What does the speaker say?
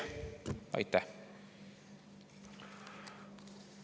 Aitäh!